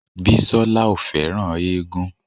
Bísọ́lá ò fẹ́ràn éégún